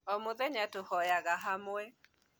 O mũthenya tũhoyaga hamwe